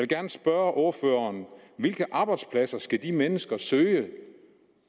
gerne spørge ordføreren hvilke job skal de mennesker søge